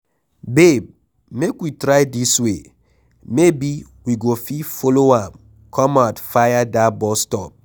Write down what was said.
Babe make we try dis way maybe we go fit follow am come out fir dat bus stop.